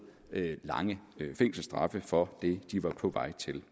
lange fængselsstraf for det de var på vej til